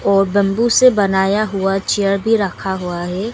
और बंबू से बनाया हुआ चेयर भी रखा हुआ है।